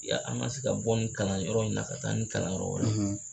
Ya an na se ka bɔ ni kalan yɔrɔ in na ka taa ni kalan yɔrɔ wɛrɛ